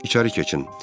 İçəri keçin.